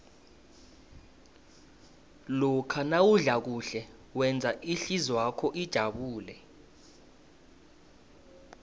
lokha nawudla kuhle wenza ihlizwakho ijabule